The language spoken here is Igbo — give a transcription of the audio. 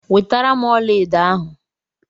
wetaram ọlaedo ahu!